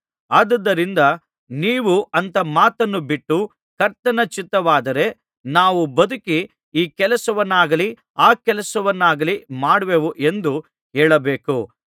ಆದುದರಿಂದ ನೀವು ಅಂಥ ಮಾತನ್ನು ಬಿಟ್ಟು ಕರ್ತನ ಚಿತ್ತವಾದರೆ ನಾವು ಬದುಕಿ ಈ ಕೆಲಸವನ್ನಾಗಲಿ ಆ ಕೆಲಸವನ್ನಾಗಲಿ ಮಾಡುವೆವು ಎಂದು ಹೇಳಬೇಕು